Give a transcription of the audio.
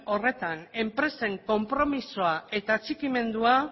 horretan enpresen konpromisoa eta atxikimendua